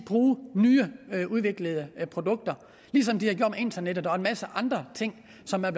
bruge nyudviklede produkter ligesom de har gjort med internettet og en masse andre ting som er